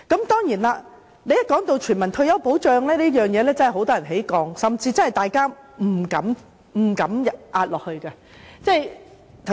當然，一提到全民退休保障，很多人真的會有戒心，甚至大家也不敢下注。